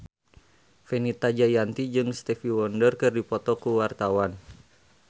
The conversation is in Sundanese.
Fenita Jayanti jeung Stevie Wonder keur dipoto ku wartawan